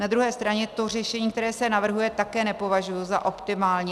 Na druhé straně to řešení, které se navrhuje, také nepovažuji za optimální.